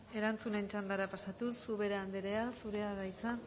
erantzunen txandara pasatuz ubera anderea zurea da hitza